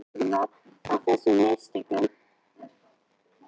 Morgunblaðið biðst velvirðingar á þessum mistökum